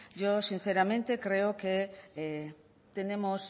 yo sinceramente creo que tenemos